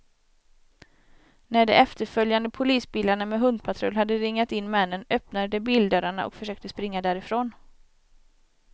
När de efterföljande polisbilarna med hundpatrull hade ringat in männen, öppnade de bildörrarna och försökte springa därifrån.